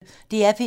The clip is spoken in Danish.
DR P1